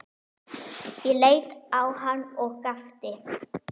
Ég leit á hann og gapti.